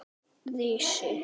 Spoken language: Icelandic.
Hvernig fóru þeir að þessu?